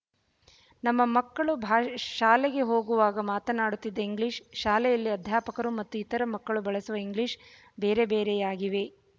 ನಮ್ಮ ಮಕ್ಕಳು ಬ ಶಾಲೆಗೆ ಹೋಗುವಾಗ ಮಾತನಾಡುತ್ತಿದ್ದ ಇಂಗ್ಲಿಶ ಶಾಲೆಯಲ್ಲಿ ಅಧ್ಯಾಪಕರು ಮತ್ತು ಇತರ ಮಕ್ಕಳು ಬಳಸುವ ಇಂಗ್ಲಿಶ ಬೇರೆ ಬೇರೆಯಾಗಿವೆ